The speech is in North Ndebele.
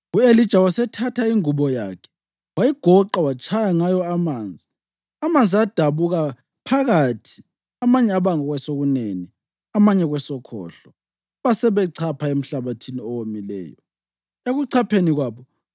U-Elija wasethatha ingubo yakhe, wayigoqa watshaya ngayo amanzi. Amanzi adabuka phakathi amanye aba kwesokunene amanye kwesokhohlo, basebechapha emhlabathini owomileyo.